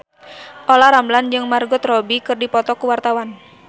Olla Ramlan jeung Margot Robbie keur dipoto ku wartawan